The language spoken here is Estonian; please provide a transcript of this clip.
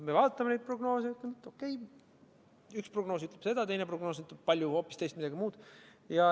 Me vaatame neid prognoose ja ütleme, et okei, üks prognoos ütleb seda, teine prognoos hoopis midagi muud.